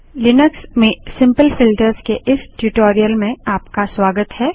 Linux में simple filters के इस ट्यूटोरियल में आपका स्वागत है